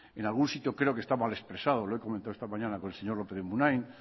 en algún sitio creo que está mal expresado lo he comentado esta mañana con el señor lópez de munain